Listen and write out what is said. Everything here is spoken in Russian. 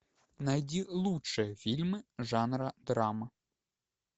найди лучшие фильмы жанра драма